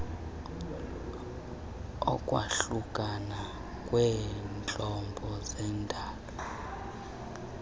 ukwahlukana kweentlobo zendalo